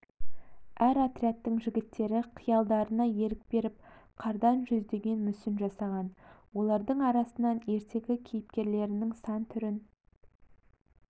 әр отрядтың жігіттері қиялдарына ерік беріп қардан жүздеген мүсін жасаған олардың арасынан ертегі кейіпкерлерінің сан түрін